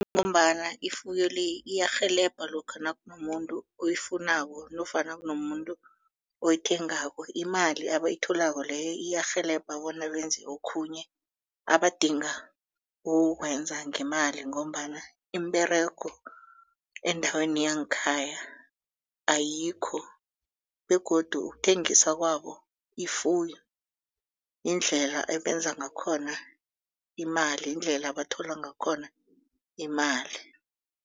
Kungombana ifuyo le iyarhelebha lokha nakunomuntu oyifunako nofana kunomuntu oyithengako imali abayitholako leyo iyarhelebha bona benze okhunye abadinga ukukwenza ngemali ngombana imiberego endaweni yangekhaya ayikho begodu ukuthengisa kwabo ifuyo indlela ebebenza ngakhona imali yindlela abathola ngakhona imali.